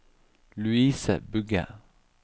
Louise Bugge